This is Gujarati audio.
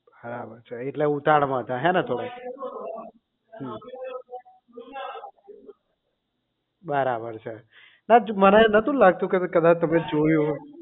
હા એટલે ઉતાવળમાં હતા ને હેને થોડું હમ બરાબર છે ના મારે નહોતું લાગતું કે મારે કદાચ તમે જોયું